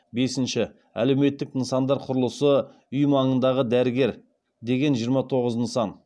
бесінші әлеуметтік нысандар құрылысы үй маңындағы дәрігер деген жиырма тоғыз нысан